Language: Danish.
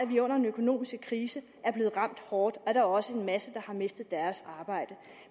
vi under den økonomiske krise er blevet ramt hårdt er der også en masse der har mistet deres arbejde